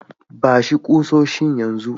Ba shi kusoshin yan zu.